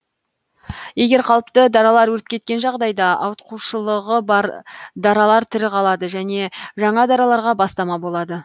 егер қалыпты даралар өліп кеткен жағдайда ауытқушылығы бар даралар тірі қалады және жаңа дараларға бастама болады